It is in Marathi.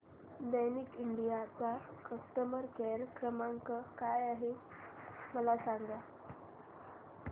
दैकिन इंडिया चा कस्टमर केअर क्रमांक काय आहे मला सांगा